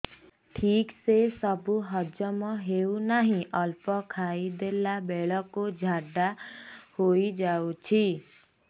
ଠିକସେ ସବୁ ହଜମ ହଉନାହିଁ ଅଳ୍ପ ଖାଇ ଦେଲା ବେଳ କୁ ଝାଡା ହେଇଯାଉଛି